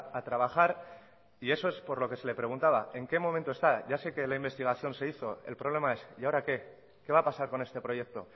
a trabajar y eso es por lo que se le preguntaba en qué momento está ya sé que la investigación se hizo el problema es y ahora qué qué va a pasar con este proyecto